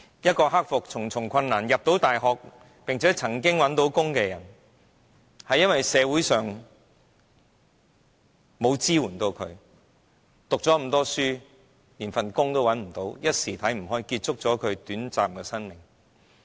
一個克服重重困難進入大學學習，並曾經找到工作的人，因為社會沒有向她提供支援，即使讀了這麼多書，連一份工作也找不到，一時想不開，便結束了短暫的生命。